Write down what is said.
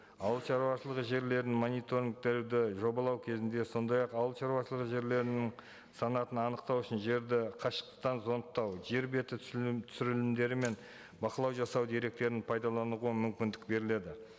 ауылшаруашылығы жерлерін мониторингтерді жобалау кезінде сондай ақ ауылшаруашылығы жерлерінің санатын анықтау үшін жерді қашықтықтан зондтау жер беті түсірілімдері мен бақылау жасау деректерін пайдалануға мүмкіндік беріледі